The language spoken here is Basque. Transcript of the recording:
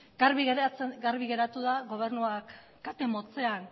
garbi geratu da gobernuak kate motzean